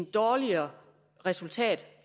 dårligere resultat